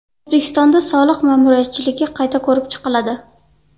O‘zbekistonda soliq ma’muriyatchiligi qayta ko‘rib chiqiladi.